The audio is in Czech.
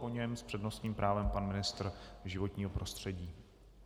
Po něm s přednostním právem pan ministr životního prostředí.